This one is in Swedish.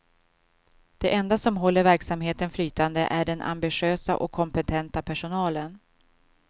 Det enda som håller verksamheten flytande är den ambitiösa och kompetenta personalen.